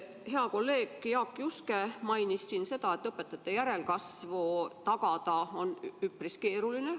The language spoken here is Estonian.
Hea kolleeg Jaak Juske mainis siin seda, et õpetajate järelkasvu tagada on üpris keeruline.